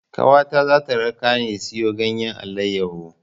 Ƙawata za ta rakani siyo ganyen alayyahu.